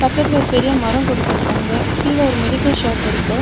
பக்கத்துல ஒரு பெரிய மரம் குடுத்துருக்காங்க. கீழெ ஒரு மெடிக்கல் ஷாப் இருக்கு.